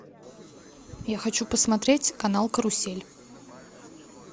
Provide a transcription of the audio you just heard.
я хочу посмотреть канал карусель